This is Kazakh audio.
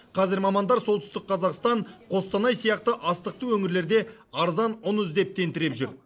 қазір мамандар солтүстік қазақстан қостанай сияқты астықты өңірлерде арзан ұн іздеп тентіреп жүр